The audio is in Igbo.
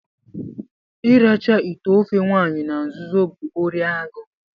ịracha ite ofe nwanyi na nzuzo bụ órí agụụ